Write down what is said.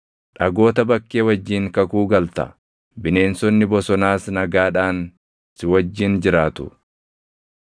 Dhagoota bakkee wajjin kakuu galta; bineensonni bosonaas nagaadhaan si wajjin jiraatu.